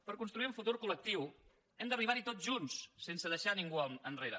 per construir un futur col·lectiu hem d’arribar hi tots junts sense deixar ningú enrere